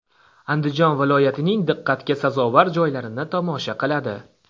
Andijon viloyatining diqqatga sazovor joylarini tomosha qiladi.